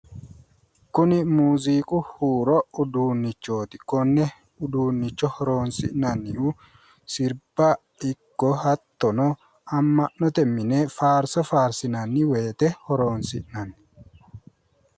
Kuin muziiqu huuro udunnichooti konne uduunnicho horoonsi'nannihu sirba ikko hattono amma'note mine faarso faarsinanni woyiite horoonsi'nanni